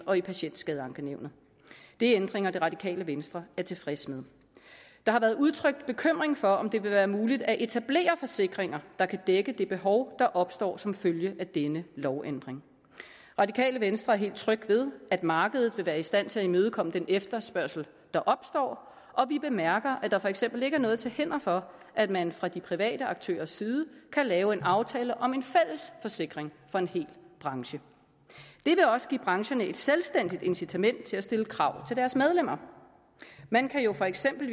og i patientskadeankenævnet det er ændringer det radikale venstre er tilfreds med der har været udtrykt bekymring for om det vil være muligt at etablere forsikringer der kan dække det behov der opstår som følge af denne lovændring radikale venstre er helt tryg ved at markedet vil være i stand til at imødekomme den efterspørgsel der opstår og vi bemærker at der for eksempel ikke er noget til hinder for at man fra de private aktørers side kan lave en aftale om en fælles forsikring for en hel branche det vil også give brancherne et selvstændigt incitament til at stille krav til deres medlemmer man kan jo for eksempel